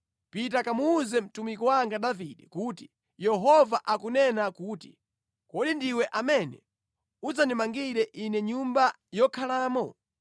“Pita kamuwuze mtumiki wanga Davide kuti, ‘Yehova akunena kuti: kodi ndiwe amene udzandimangira Ine nyumba yokhalamo?